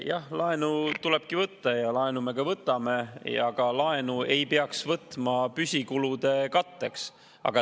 Jah, laenu tulebki võtta ja laenu me ka võtame, aga laenu ei peaks võtma püsikulude katteks.